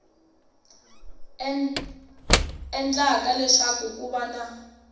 endlaka leswaku ku va na